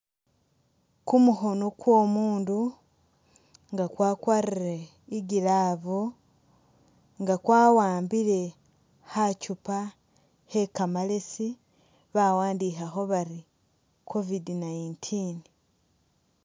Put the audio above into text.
Kumukhono kwo'omuundu nga kwakwarire i'glove nga kwawambile kha chupa khe kamalesi bawandikhakho bari covid 19.